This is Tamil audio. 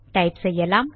டைப் செய்யலாம்